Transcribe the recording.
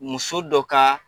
Muso dɔ ka.